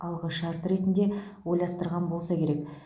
алғы шарты ретінде ойластырған болса керек